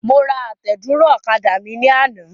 Mo ra àtẹ̀dúró ọ̀kadà mi ní àná.